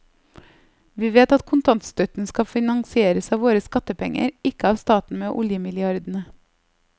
Vi vet at kontantstøtten skal finansieres av våre skattepenger, ikke av staten med oljemilliardene.